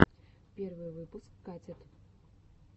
первый выпуск катит